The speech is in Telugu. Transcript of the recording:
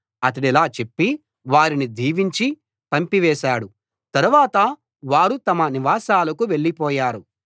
అతడిలా చెప్పి వారిని దీవించి పంపివేశాడు తరువాత వారు తమ నివాసాలకు వెళ్ళిపోయారు